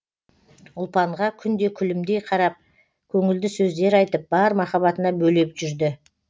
ұлпанға күнде күлімдей қарап көңілді сөздер айтып бар махаббатына бөлеп жүрді